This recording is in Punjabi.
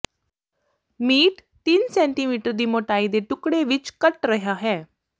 ਮੀਟ ਤਿੰਨ ਸੈਟੀਮੀਟਰ ਦੀ ਮੋਟਾਈ ਦੇ ਟੁਕੜੇ ਵਿੱਚ ਕੱਟ ਰਿਹਾ ਹੈ